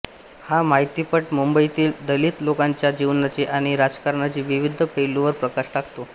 हा माहितीपट मुंबईतील दलित लोकांच्या जीवनाचे आणि राजकारणाचे विविध पैलूंवर प्रकाश टाकतो